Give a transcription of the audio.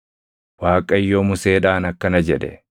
Waaqayyo Museedhaan akkana jedhe;